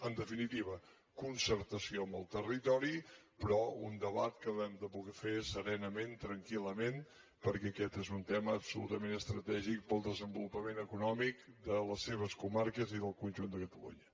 en definitiva concertació amb el territori però un debat que hem de poder fer serenament tranquil·lament perquè aquest és un tema absolutament estratègic per al desenvolupament econòmic de les seves comarques i del conjunt de catalunya